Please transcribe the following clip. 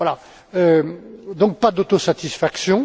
Voilà, donc pas d'autosatisfaction.